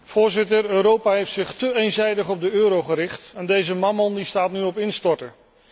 Voorzitter, Europa heeft zich te eenzijdig op de euro gericht en deze mammon staat nu op instorten.